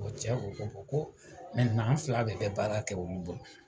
O cɛ ko ko ko an fila de bɛ baara kɛ olu bolo